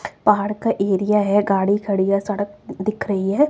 पहाड़ का एरिया है गाड़ी खड़ी है सड़क दिख रही है।